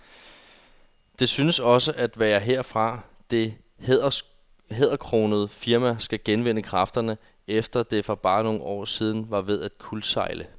Det synes også at være herfra, det hæderkronede firma skal genvinde kræfterne, efter at det for bare et par år siden var ved at kuldsejle.